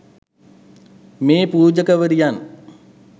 මේ පූජකවරියන්